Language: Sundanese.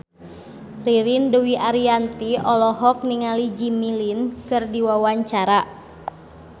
Ririn Dwi Ariyanti olohok ningali Jimmy Lin keur diwawancara